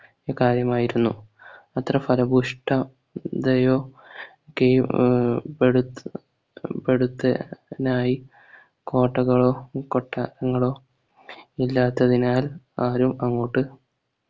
കാര്യമായിരുന്നു അത്ര ഫലഭൂവിഷ്ട തയോ കെയോ അഹ് പെടു പെടുത്താ നായി കോട്ടകളോ കൊട്ടാരങ്ങളോ ഇല്ലാത്തതിനാൽ ആരും അങ്ങോട്ട്